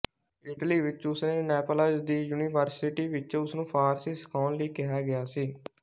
Italy ਵਿੱਚ ਉਸ ਨੇ ਨੈਪਲਜ਼ ਦੀ ਯੂਨੀਵਰਸਿਟੀ ਵਿੱਚ ਉਸਨੂੰ ਫ਼ਾਰਸੀ ਸਿਖਾਉਣ ਲਈ ਕਿਹਾ ਗਿਆ ਸੀ